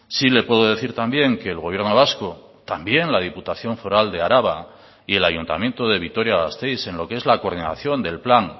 sí le puedo decir también que el gobierno vasco también la diputación foral de araba y el ayuntamiento de vitoria gasteiz en lo que es la coordinación del plan